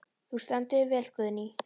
Þú stendur þig vel, Guðný!